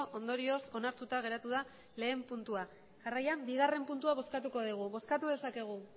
ondorioz onartuta geratu da lehen puntua jarraian bigarren puntua bozkatuko dugu bozkatu dezakegu